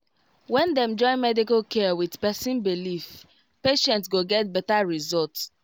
when dem join medical care with person believe patient go get better result